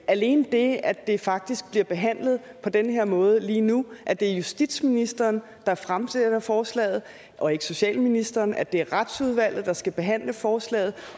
alene det at det faktisk bliver behandlet på den her måde lige nu at det er justitsministeren der fremsætter forslaget og ikke socialministeren og at det er retsudvalget der skal behandle forslaget